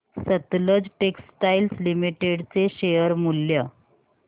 Sutlej textiles limited चे share मूल्य